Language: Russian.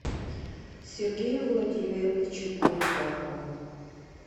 сергею владимировичу поликарпову